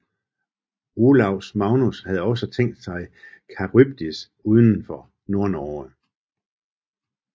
Olaus Magnus havde også tænkt sig Charybdis udenfor Nordnorge